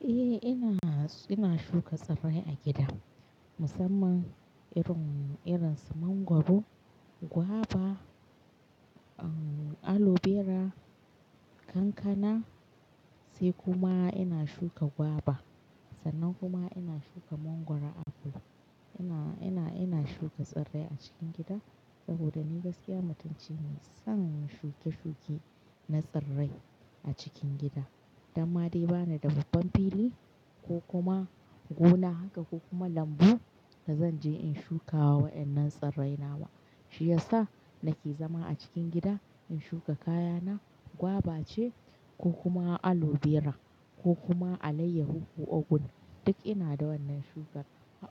Eh ina, ina shuka tsirrai a gida musamman irin, irin su mangoro guava, aloe vera, kankana sai kuma ina shuka gwaba sannan kuma ina shuka mangoro apple. Ina, ina, ina shuka tsirrai a cikin gida saboda ni gaskiya mutunci ne san shuke-shuke na tsirrai a cikin gida. Dan ma dai bani da babban fili ko kuma gona haka ko kuma lambu da zan je in shuka wannan tsirrai na wa, shi yasa nake zama a cikin gida in shuka kayana gwaba ce ko kuma aloe vera ko kuma alayyahu ko ogun duk ina da wannan shukar.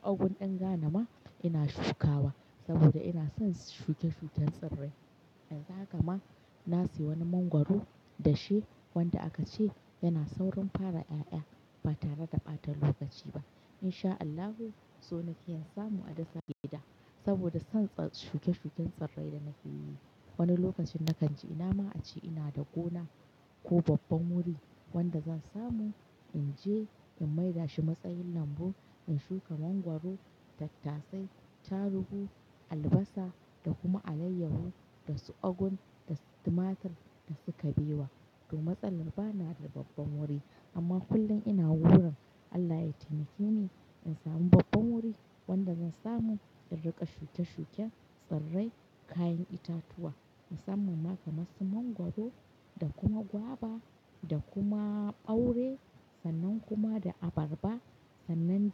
Ogun ɗin ghana ma ina shukawa saboda ina son shuke-shuken tsirrai. Yanzu haka ma na siyo wani mangwaro dashe wanda aka ce yana saurin fara ƴaƴa ba tare da ɓata lokaci ba. In sha Allahu, so nike in samu a dasa a gida saboda son ts-- shuke-shuken tsirrai da nake yi. Wani lokacin na kan ji ina ma a ce ina da gona ko babban wuri wanda zan samu in je in maida shi matsayin lambu, in shuka mangwaro, tattasai, tarubu, albasa da kuma alayyahu da su ogan da su tumatur da su kabewa. To matsalan ba na da babban wuri amma kullum ina wurin Allah ya taimake ni in samu babban wuri wanda zan samu in riƙa shuke-shuken tsirrai, kayan itatuwa musamman ma kamar su mangwaro da kuma gwaba Ogun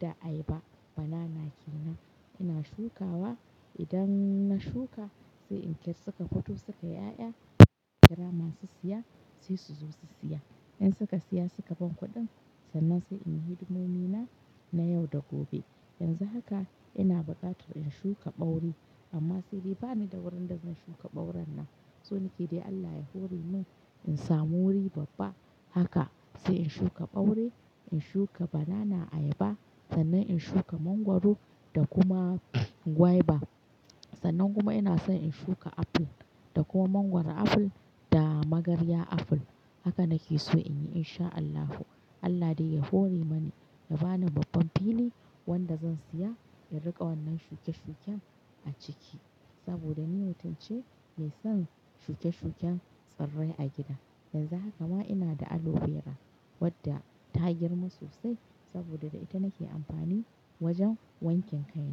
ɗin ghana ma ina shukawa saboda ina son shuke-shuken tsirrai. Yanzu haka ma na siyo wani mangwaro dashe wanda aka ce yana saurin fara ƴaƴa ba tare da ɓata lokaci ba. Idan na shuka sai in kai suka fito suka ƴaƴa, kira masu siya sai su zo su siya. In suka siya suka ban kuɗin sannan sai in yi hidimomi na, na yau da gobe. Yanzu haka ina buƙatar in shuka ɓaure amma saidai bani da wurin da zan shuka ɓauran nan. So nike dai Allah ya hore mun in samu wuri babba haka sai in shuka ɓaure, in shuka banana ayaba sannan in shuka mangwaro da kuma gwaba. Sannan kuma ina son in shuka apple da kuma mangwaro apple da magarya apple. Haka nake so in yi in sha Allahu. Allah dai ya hore mana ya bani babban fili wanda zan siya in riƙa wannan shuke-shuken a ciki saboda ni mutumce mai son shuke-shuken tsirrai a gida. Yanzu haka ma ina da aloe vera wadda ta girma sosai saboda da ita nake amfani wajen wanken kai.